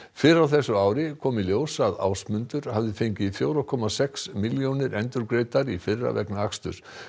fyrr á þessu ári kom í ljós að Ásmundur hafði fengið fjóra komma sex milljónir endurgreiddar í fyrra vegna aksturs